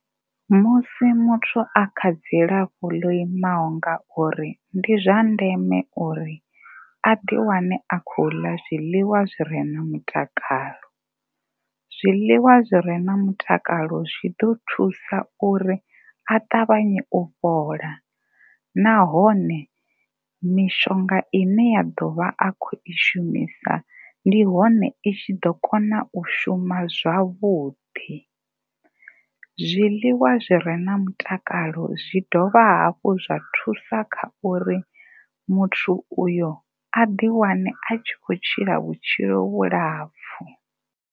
Musi muthu a kha dzilafho ḽo imaho nga uri ndi zwa ndeme uri a ḓi wane a khou ḽa zwiḽiwa zwi re na mutakalo. Zwiḽiwa zwi re na mutakalo zwi ḓo thusa uri a ṱavhanye u fhola nahone mishonga ine ya ḓo vha a tshi khou i shumisa ndi hone i tshi ḓo kona u shuma zwavhuḓi. Zwiḽiwa zwi re na mutakalo zwi dovha hafhu zwa thusa kha uri muthu uyo a ḓi wane a tshi khou tshila vhutshilo vhulapfhu.